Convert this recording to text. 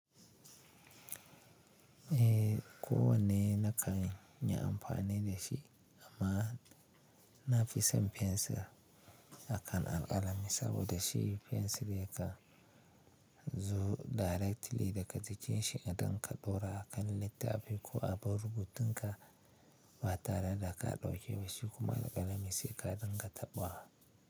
Eh, kowane na kan yi amfani da shi amma na fi son fensir akan alƙalami saboda shi fensir yakan zo directly daga jikin shi idan ka ɗaura a kan littafi ko a ban rubutunka ba tare da ka ɗauke wasu kuma alƙalami sai ka dinga taɓa wa.